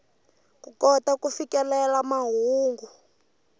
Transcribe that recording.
ku kota ku fikelela mahungu